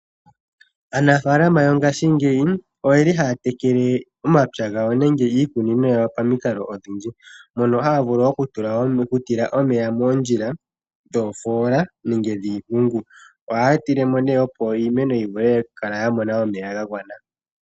Aanafalama yo ngashingeyi oye li haya tekele omapya gawo nenge iikunino yawo pamikalo odhindji, mono haya vulu okutila omeya moondjila dhoofola nenge dhiimpungu. Ohaya tile mo nee opo iimeno yi vule okukala ya mona omeya ga gwana.